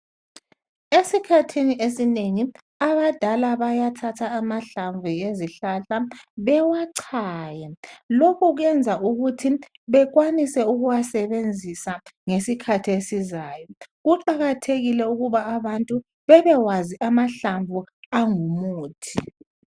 Esikhathini esinengi abadala bayathatha amahlamvu ezihlahla bewachaye. Lokhu kwenza ukuthi bekwanise ukuwasebenzise ngesikhathi esizayo. Kuqakathekile ukuba abantu bebekwazi amahlamvu angumuthi.